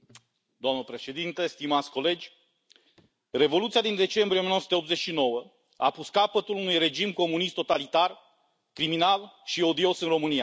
Doamnă președintă, stimați colegi, Revoluția din decembrie 1989 a pus capăt unui regim comunist totalitar, criminal și odios în România.